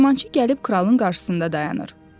Dəyirmançı gəlib kralın qarşısında dayanır.